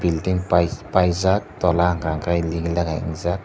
building paijak tola hwnka hwnkhe ligi lagai ungjak.